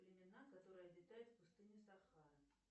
племена которые обитают в пустыне сахара